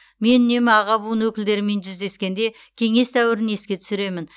мен үнемі аға буын өкілдерімен жүздескенде кеңес дәуірін еске түсіремін